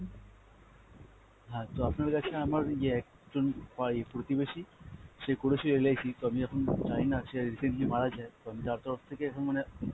হ্যাঁ তো আপনার কাছে আমার ইয়ে একজন পাই~ প্রতিবেশী সে করেছে LIC, তো আমি এখন জানিনা সে recently মারা যায়, তো আমি তার তরফ থেকে এখন মানে